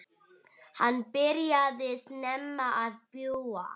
Hann byrjaði snemma að búa.